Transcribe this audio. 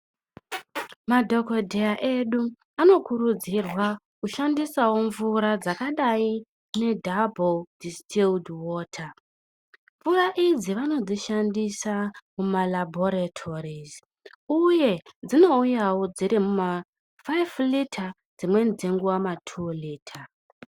Madhokodheya edu anokurudzirwa kushandisawo mvura dzakadaro ngedhabhoudhi wota mvura idzi vanodzishandisa mumalabhoritorizi uye dzinouyawo dziri mumafaifi lita dzimweni dzenguwa matulita.